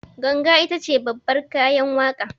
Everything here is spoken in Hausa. Ganga itace babbar kayan waƙa